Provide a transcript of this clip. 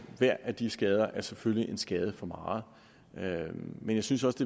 hver af de skader selvfølgelig en skade for meget men jeg synes også